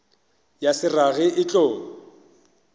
ya se rage e tlo